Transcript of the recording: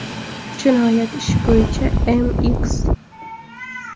Jinoyat ishi bo‘yicha M.X.